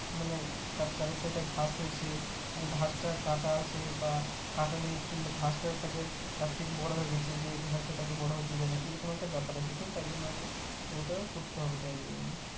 মানে তার চারি side ঘাস হয়েছে ঘাসটা কাটা আছে বা কাটা নেই কিংবা ঘাসটা তাকে তার থেকে বড়ো গেছে যে ঘাসটা তাকে বড়ো হতে দেয় না এই রকম একটা ব্যাপার আছে তো তাই জন্য আগে ওটাও করতে হবে তাই